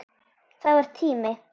Það var tími.